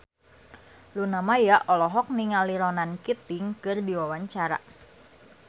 Luna Maya olohok ningali Ronan Keating keur diwawancara